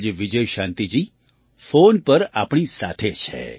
આજે વિજયશાંતિજી ફૉન પર આપણી સાથે છે